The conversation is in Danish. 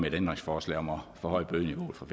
et ændringsforslag om at forhøje bødeniveauet fra